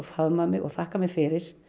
og þakkað mér fyrir